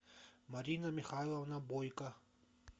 марина михайловна бойко